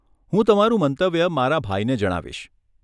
હું તમારું મંતવ્ય મારા ભાઈને જણાવીશ.